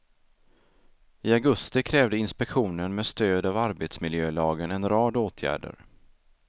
I augusti krävde inspektionen med stöd av arbetsmiljölagen en rad åtgärder.